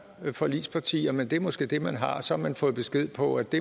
forligspartier men det er måske det man har og så har man fået besked på at det